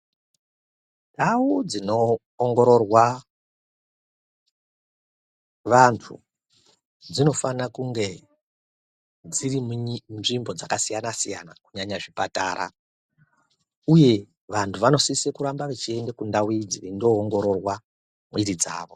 Ndau dzinoongororwa vantu dzinofana kunge dziri munzvimbo dzakasiyana siyana kunyanya zvipatara uye vantu vanosise kuramba veiende kundau idzi veindoongororwa mwiri dzavo.